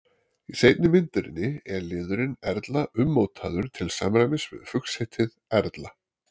í seinni myndinni er liðurinn erla ummótaður til samræmis við fuglsheitið erla